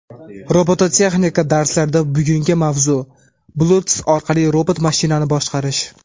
Robototexnika darslarida bugungi mavzu: Bluetooth orqali robot mashinani boshqarish.